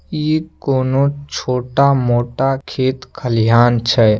इ कोनो छोटा-मोटा खेत खलियान छै।